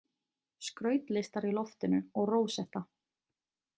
Skrautlistar í loftinu og rósetta.